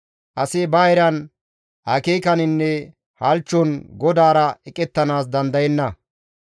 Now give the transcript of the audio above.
Asi ba eran, akeekaninne halchchon GODAARA eqettanaas dandayenna.